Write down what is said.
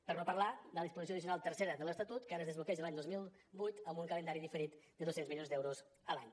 per no parlar de la disposició addicional tercera de l’estatut que ara es desbloqueja l’any dos mil divuit amb un calendari diferit de dos cents milions d’euros a l’any